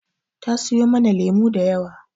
Ta siyo mana lemu da yawa.